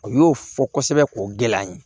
U y'o fɔ kosɛbɛ k'o gɛlɛya n ye